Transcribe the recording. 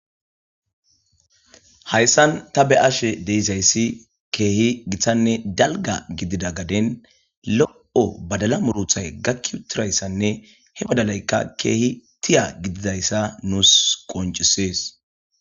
Hayssan ta be7ashe de7isayssi keehi giththanne dalga gidida gaden lo7o badala muruthay gakki utirayssanne he badalaykka keehi tiya gididayssa nuus qoncisees.